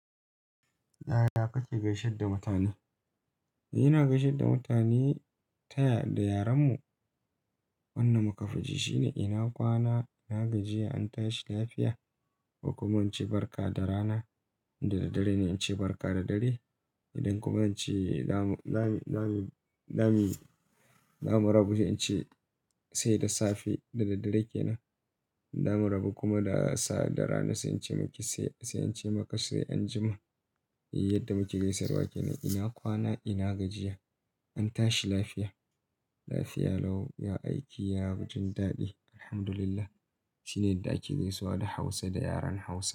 Yaya kake gaishe da mutane? Ina gaishe da mutane ta ya da yaranmu. Wannan muka fi ji shine "Ina kwana, ina gajiya, an tashi lafiya" ko kuma in ce "Barka da rana", dadadare ne in ce "Barka da dare". Idan kuma in ce zamu rabu, in ce "Sai da safe" da daddare kenan. Zamu rabu kuma da rana sai in ce maka "Sai an jima". Yadda muke gaisawa ke nan. Ina kwana, ina gajiya, an tashi lafiya. Lafiya lau, ya aiki, ya wajen daɗi, Alhamdulillah. Shine yadda ake gaisuwa da Hausa da yaren Hausa.